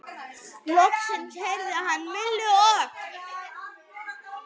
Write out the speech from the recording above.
Loks heyrði hann Millu og